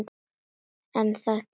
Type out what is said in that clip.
En það gerði hún ekki.